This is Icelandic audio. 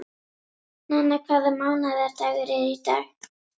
Nenna, hvaða mánaðardagur er í dag?